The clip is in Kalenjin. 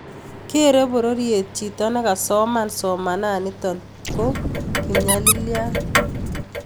Kerei pororiet chito nikasoman somananito ko kopnyalilyat